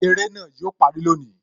Eré náà yo parí lónìí